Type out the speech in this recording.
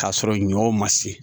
K'a sɔrɔ ɲɔ ma se